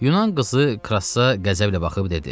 Yunan qızı Krassa qəzəblə baxıb dedi.